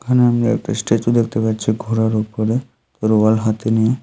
এখানে আমি একটা স্ট্যাচু দেখতে পাচ্ছি ঘোড়ার উপরে তরোয়াল হাতে নিয়ে।